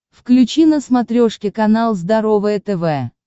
включи на смотрешке канал здоровое тв